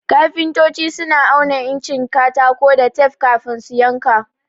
Kafintoci suna auna incin katako da tef kafin su yanka.